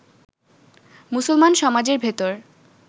মুসলমান সমাজের ভেতর